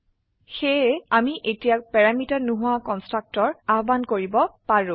সেয়ে আমি এতিয়া প্যাৰামিটাৰ নোহোৱা কন্সট্ৰাকটৰ আহ্বান কৰিব পাৰো